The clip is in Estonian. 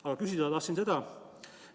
Aga küsida tahan seda.